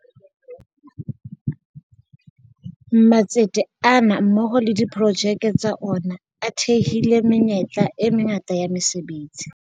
Matsete ana mmoho le diprojeke tsa ona a thehile menyetla e mangata ya mese betsi.